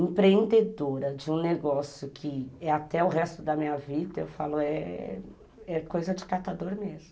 empreendedora de um negócio que é até o resto da minha vida, eu falo é coisa de catador mesmo.